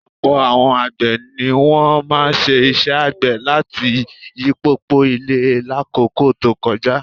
Ọ̀pọ̀ àwọn àgbẹ̀ ni wọ́n máa ń ṣe iṣẹ́ àgbẹ̀ àti yíyipo ilẹ̀ lákòókò tó kọjá